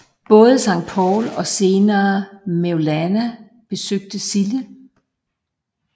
Både Sankt Paul og senere Mevlana besøgte Sille